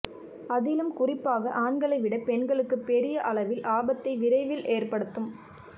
அதிலும் குறிப்பாக ஆண்களை விட பெண்களுக்கு பெரிய அளவில் ஆபத்தை விரைவில் ஏற்படுத்தும்